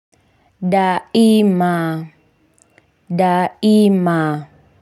Daima. Daima.